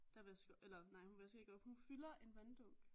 Der vasker eller nej hun vasker ikke op hun fylder en vanddunk